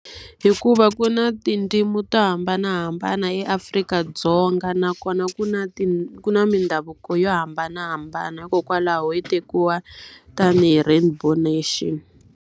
Hikuva ku na tindzimi to hambanahambana eAfrika-Dzonga nakona ku na ku na mindhavuko yo hambanahambana. Hikokwalaho hi tekiwa tanihi rainbow nation.